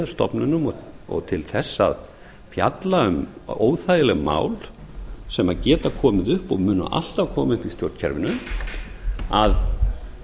stofnunum og til þess að fjalla um óþægileg mál sem geta komið upp og munu alltaf koma upp í stjórnkerfinu